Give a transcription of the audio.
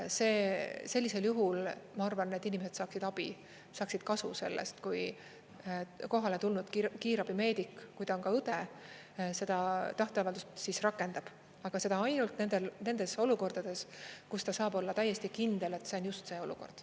Sellisel juhul ma arvan, et need inimesed saaksid abi, saaksid kasu sellest, kui kohale tulnud kiirabimeedik, kui ta on ka õde, seda tahteavaldust siis rakendab, aga seda ainult nendes olukordades, kus ta saab olla täiesti kindel, et see on just see olukord.